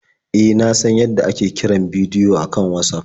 E, na san yadda ake kiran bidiyo a kan Watsaf.